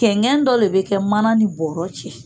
Kɛngɛn dɔ le be kɛ manan ni bɔrɔ cɛ